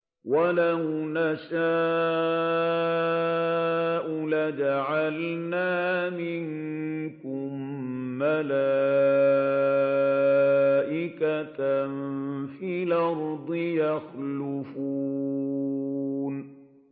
وَلَوْ نَشَاءُ لَجَعَلْنَا مِنكُم مَّلَائِكَةً فِي الْأَرْضِ يَخْلُفُونَ